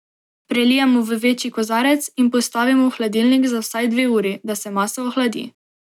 Prelijemo v večji kozarec in postavimo v hladilnik za vsaj dve uri, da se masa ohladi.